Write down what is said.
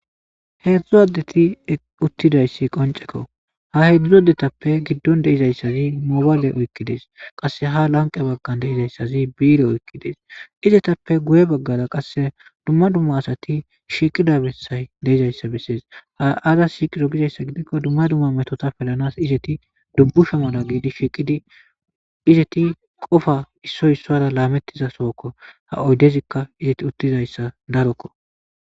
Heedzdzu addeti uttidayssi qoncekko ha hedzdzu adetappe giddon deizayssazi mobaale oykkides qasse ha lanqe baggan deizayssazi biire oykkides izetappe guye baggara qasse dumma dumma asati shiqida bessay deizayssa bessees ha aza shiiqiro gizayssa gidikko dumma dumma metota pelanas izeti dubbusha mala geidi shiiqidi izeti qofa issoy issora laamettiza sookko ha oydezikka izeti uttizayssa darokko.